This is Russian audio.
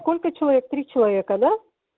сколько человек три человека да